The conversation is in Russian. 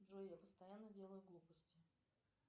джой я постоянно делаю глупости